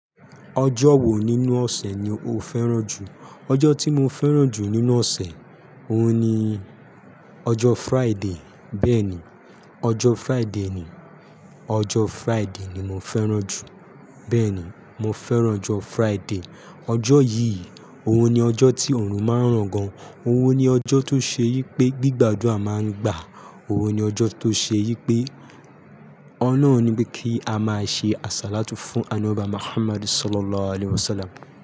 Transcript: Ọjọ́ wo nínú ọ̀sẹ̀ ni o fẹ́ràn jù? Ọjọ́ tí mo fẹ́ràn jù nínú ọ̀sẹ̀, òhun ni ọjọ́ Friday. Bẹ́ẹ̀ni, ọjọ́ Friday ni, ọjọ́ Friday ni mo fẹ́ràn jù. Bẹ́ẹ̀ ni, mo fẹ́ràn ọjọ́ Friday. Ọjọ́ yìí, òhun ni ọjọ́ tí òorun má ń ràn gan. Òhun ni ọjọ́ tó ṣe wipé gbígbàdúrà má ń gbà. Òhun ni ọjọ́ tó ṣe wípé ọ̀lohun ni pé kí a máa ṣe àsálátù fún Ànọbi wa Muhammad Sallallahu alaihi wasallam.